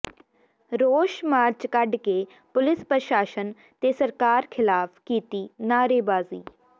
ਰੋਸ ਮਾਰਚ ਕੱਢ ਕੇ ਪੁਲਿਸ ਪ੍ਰਸ਼ਾਸਨ ਤੇ ਸਰਕਾਰ ਿਖ਼ਲਾਫ਼ ਕੀਤੀ ਨਾਅਰੇਬਾਜ਼ੀ